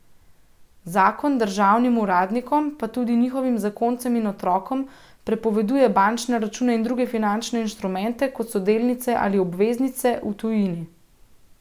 Zakon državnim uradnikom, pa tudi njihovim zakoncem in otrokom, prepoveduje bančne račune in druge finančne inštrumente, kot so delnice ali obveznice, v tujini.